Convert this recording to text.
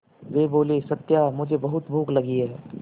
वे बोले सत्या मुझे बहुत भूख लगी है